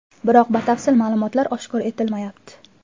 Biroq batafsil ma’lumot oshkor etilmayapti.